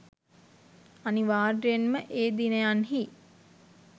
අනිවාර්යයෙන් ම ඒ දිනයන්හි